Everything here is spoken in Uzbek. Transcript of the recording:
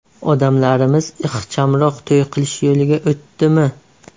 Odamlarimiz ixchamroq to‘y qilish yo‘liga o‘tdimi?